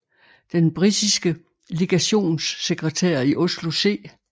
Den britiske legationssekretær i Oslo C